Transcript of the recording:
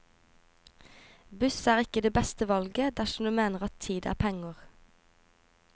Buss er ikke det beste valget dersom du mener at tid er penger.